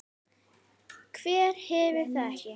Hver hefur það ekki?